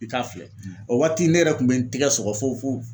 I k'a filɛ o waati ne yɛrɛ kun bɛ n tigɛ sɔgɔ fo fo